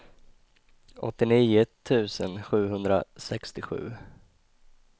åttionio tusen sjuhundrasextiosju